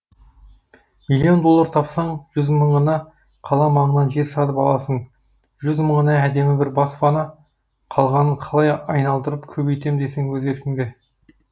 миллион доллар тапсаң жүз мыңына қала маңынан жер сатып аласың жүз мыңына әдемі бір баспана қалғанын қалай айналдырып көбейтем десең өз еркіңде